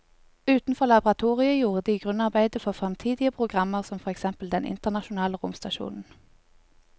Utenfor laboratoriet gjorde de grunnarbeidet for fremtidige programmer som for eksempel den internasjonale romstasjonen.